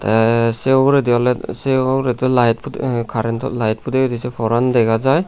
te seh ugurendi ole se ugurendi light pude currento light pudegidey se poran dega jai.